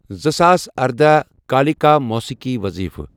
زٕساس اردہَ کالیٖکا موٗسیقی وٕظیٖفہٕ۔